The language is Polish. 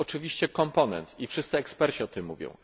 To jest oczywiście komponent i wszyscy eksperci o tym mówią.